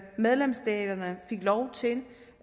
medlemsstaterne fik lov til